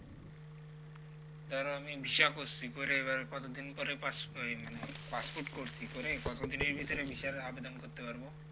ধরো আমি visa করছি করে এইবার কতদিন পরে ওই মানে passport করছি করে কত দিনের ভিতরে visa র আবেদন করতে পারব